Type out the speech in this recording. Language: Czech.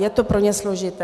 Je to pro ně složité.